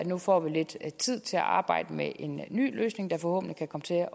nu får lidt tid til at arbejde med en ny løsning der forhåbentlig kan komme til